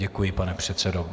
Děkuji, pane předsedo.